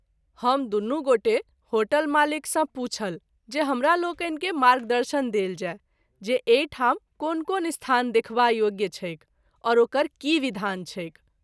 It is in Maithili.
हम दुनू गोटे होटल मालिक सँ पूछल जे हमरालोकनि के मार्गदर्शन देल जाय जे एहि ठाम कोन कोन स्थान देखबा योग्य छैक और ओकर की विधान छैक।